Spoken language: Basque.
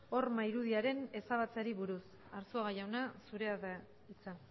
horma irudiaren ezabatzeari buruz arzuaga jauna zurea da hitza